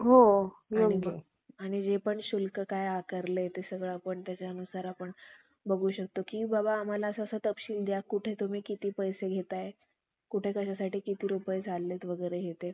ब्राम्हणाच्या, कपटरूप धास्त्यापासून मुक्त करून, क्षुद्राच्या गळ्यातील दास्त~ दस्तीत्वाचा पट्टा तोडून. ब्राम्हणाच्या ग्रंथाच्या